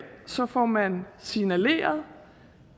får man signaleret